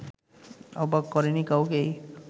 অবাক করেনি কাউকেই